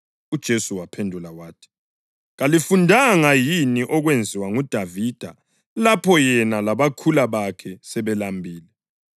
UJesu wabaphendula wathi, “Kalifundanga yini okwenziwa nguDavida lapho yena labakhula bakhe sebelambile?